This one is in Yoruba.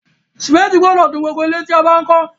Cémétì gbodò dun gbogbo ilẹ́ tí a bá n kó